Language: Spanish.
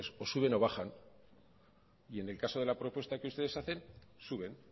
o suben o bajan y en el caso de la propuesta que ustedes hacen suben